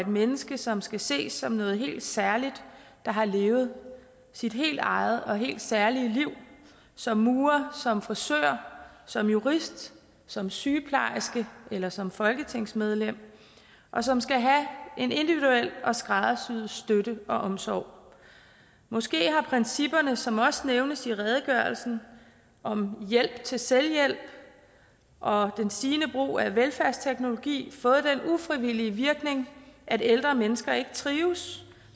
menneske som skal ses som noget helt særligt der har levet sit helt eget og helt særlige liv som murer som frisør som jurist som sygeplejerske eller som folketingsmedlem og som skal have en individuel og skræddersyet støtte og omsorg måske har principperne som også nævnes i redegørelsen om hjælp til selvhjælp og det stigende brug af velfærdsteknologi fået den ufrivillige virkning at ældre mennesker ikke trives